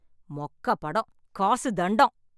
மொக்க படம். காசு தண்டம்.